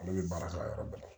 Ale bɛ baara kɛ a yɔrɔ bɛɛ la